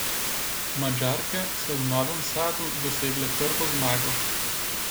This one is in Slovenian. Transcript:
Madžarke so v Novem Sadu dosegle prvo zmago.